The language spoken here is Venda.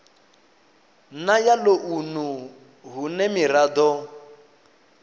na ya ḽounu hune miraḓo